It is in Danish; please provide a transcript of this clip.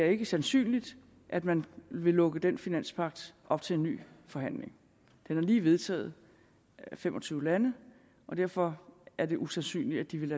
ikke er sandsynligt at man vil lukke den finanspagt op til en ny forhandling den er lige vedtaget af fem og tyve lande og derfor er det usandsynligt at de vil